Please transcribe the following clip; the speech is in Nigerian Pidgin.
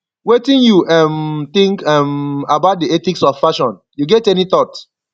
wetin you um think um about di ethics of fashion you get any thought